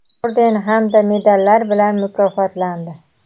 orden hamda medallar bilan mukofotlandi.